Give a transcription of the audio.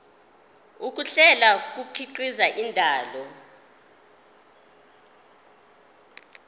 ukuhlela kukhiqiza indaba